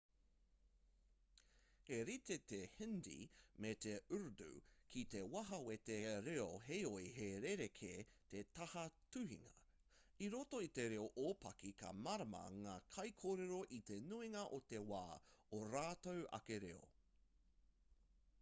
he rite te hindi me te urdu ki te taha wete reo heoi he rerekē te taha tuhinga i roto i te reo ōpaki ka mārama ngā kaikōrero i te nuinga o te wā ō rātou ake reo